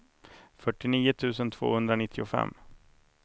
fyrtionio tusen tvåhundranittiofem